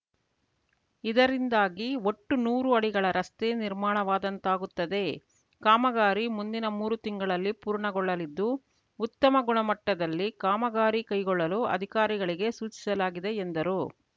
ಇದರಿಂದಾಗಿ ಒಟ್ಟು ನೂರು ಅಡಿಗಳ ರಸ್ತೆ ನಿರ್ಮಾಣವಾದಂತಾಗುತ್ತದೆ ಕಾಮಗಾರಿ ಮುಂದಿನ ಮೂರು ತಿಂಗಳಲ್ಲಿ ಪೂರ್ಣಗೊಳ್ಳಲಿದ್ದು ಉತ್ತಮ ಗುಣಮಟ್ಟದಲ್ಲಿ ಕಾಮಗಾರಿ ಕೈಗೊಳ್ಳಲು ಅಧಿಕಾರಿಗಳಿಗೆ ಸೂಚಿಸಲಾಗಿದೆ ಎಂದರು